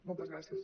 moltes gràcies